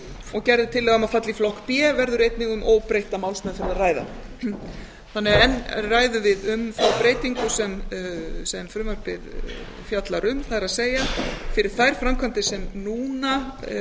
og gerð er tillaga um að falli í flokk b verður einnig um óbreytta málsmeðferð að ræða þannig að enn ræðum við um þá breytingu sem frumvarpið fjallar um það er fyrir þær framkvæmdir sem núna